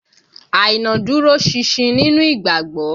Àìná dúró ṣinṣin nínú ìgbàgbọ́